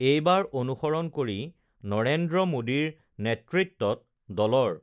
এইবাৰ অনুসৰণ কৰি নৰেন্দ্ৰ মোদীৰ নেতৃত্বত দলৰ